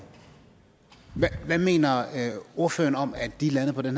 hvad mener ordføreren om at de er landet på den